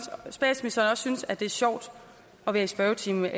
så også statsministeren synes at det er sjovt at være i spørgetimen jeg